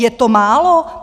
Je to málo?